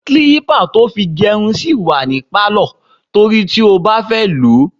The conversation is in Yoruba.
Kílípà tí a fi gérun sì wà ní Pálọ̀ torí tí ó bá fẹ́ lòó.